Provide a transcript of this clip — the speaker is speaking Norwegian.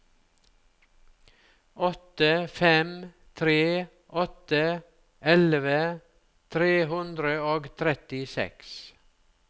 åtte fem tre åtte elleve tre hundre og trettiseks